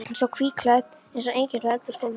Hún stóð hvítklædd eins og engill á eldhúsgólfinu.